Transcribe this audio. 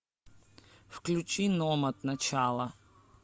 включи номад начало